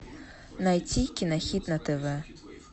найти кинохит на тв